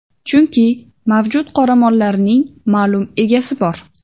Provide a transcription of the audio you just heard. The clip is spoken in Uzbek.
Chunki mavjud qoramollarning ma’lum egasi bor.